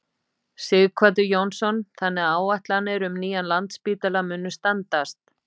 Sighvatur Jónsson: Þannig að áætlanir um nýjan Landspítala munu standast?